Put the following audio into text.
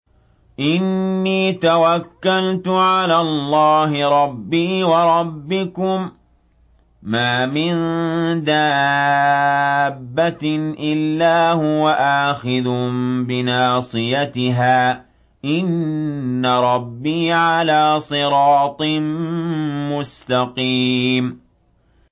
إِنِّي تَوَكَّلْتُ عَلَى اللَّهِ رَبِّي وَرَبِّكُم ۚ مَّا مِن دَابَّةٍ إِلَّا هُوَ آخِذٌ بِنَاصِيَتِهَا ۚ إِنَّ رَبِّي عَلَىٰ صِرَاطٍ مُّسْتَقِيمٍ